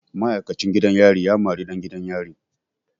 Ma'aikacin gidan yari ya mari ɗan gidan yari.